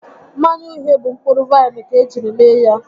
Mmanya uhie bụ mkpụrụ vaịnụ ka ejiri mee ya